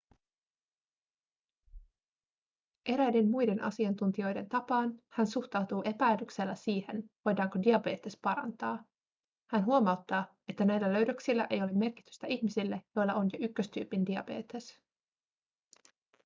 eräiden muiden asiantuntijoiden tapaan hän suhtautuu epäilyksellä siihen voidaanko diabetes parantaa hän huomauttaa että näillä löydöksillä ei ole merkitystä ihmisille joilla on jo 1-tyypin diabetes